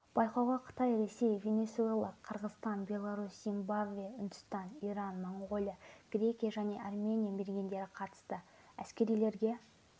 байқауға қытай ресей венесуэла қырғызстан беларусь зимбабве үндістан иран моңғолия грекия және армения мергендері қатысты әскерилерге